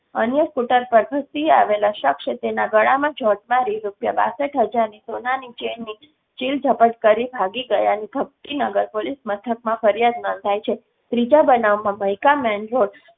અન્ય સ્કૂટર પર ધસી આવેલા શખ્સે તેના ગળામાં જોટ મારી રુપીયા બાસઠ હજારની સોનાની ચેનની ચીલ જપટ કરી ભાગી ગયાની ભક્તિનાગર પોલીસ મથકમાં ફરિયાદ નોંધાઈ છે. ત્રીજા બનાવમાં મઈકા મેઇન રોડ